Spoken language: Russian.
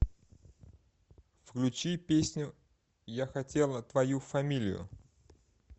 включи песню я хотела твою фамилию